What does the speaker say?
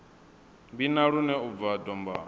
vhina lune u bva dombani